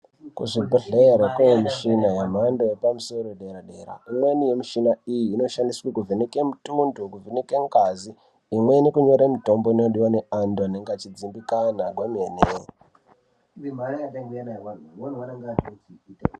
Kuzvibhedhlere kune mishina yemhando yepamusoro yedera-dera. Imweni yemishina iyi inoshandiswe kuvheneke mitundo, kuvheneke ngazi, imweni kunyore mitombo inodiwe neantu anenge achidzimbikana kwemene.